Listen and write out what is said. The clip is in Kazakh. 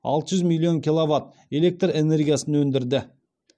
алты жүз миллион киловатт электр энергиясын өндірді